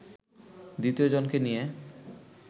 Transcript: দ্বিতীয় জনকে নিয়ে